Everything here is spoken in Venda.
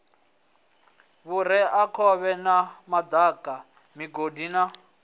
vhureakhovhe na madaka migodi na